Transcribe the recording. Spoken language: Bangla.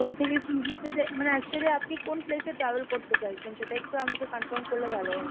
A থেকে C যেতে মানে actually আপনি কোন place এ travel করতে চাইছেন, সেটা একটু আমাকে confirm করলে ভালো হয়।